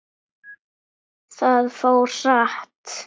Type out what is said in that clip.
Það fór hratt.